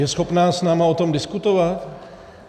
Je schopná s námi o tom diskutovat?